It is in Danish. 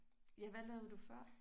Ja hvad lavede du før?